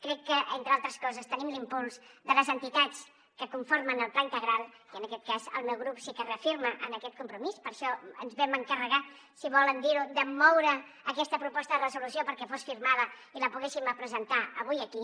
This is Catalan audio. crec que entre altres coses tenim l’impuls de les entitats que conformen el pla integral i en aquest cas el meu grup sí que es reafirma en aquest compromís per això ens vam encarregar si volen dir ho de moure aquesta proposta de resolució perquè fos firmada i la poguéssim presentar avui aquí